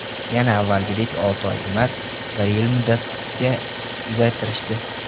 Yana avvalgidek olti oy emas, bir yil muddatga uzaytirishdi.